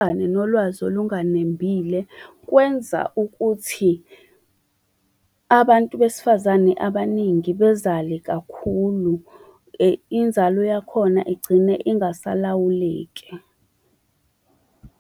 nolwazi olunganembile, kwenza ukuthi abantu besifazane abaningi bezale kakhulu inzalo yakhona igcine ingasalawuleki.